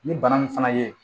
Ni bana nin fana ye